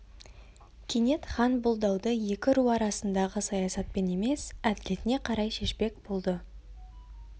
кенет хан бұл дауды екі ру арасындағы саясатпен емес әділетіне қарай шешпек болды